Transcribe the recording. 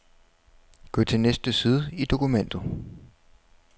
Gå til næste side i dokumentet.